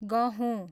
गहुँ